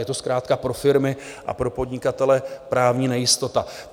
Je to zkrátka pro firmy a pro podnikatele právní nejistota.